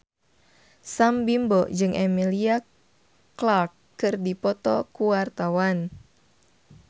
Sam Bimbo jeung Emilia Clarke keur dipoto ku wartawan